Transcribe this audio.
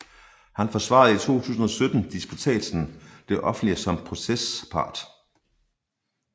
Han forsvarede i 2017 disputsen Det offentlige som procespart